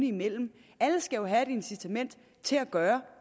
imellem alle skal jo have et incitament til at gøre